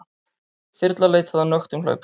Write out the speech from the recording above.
Þyrla leitaði að nöktum hlaupara